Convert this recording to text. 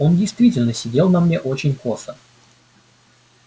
он действительно сидел на мне очень косо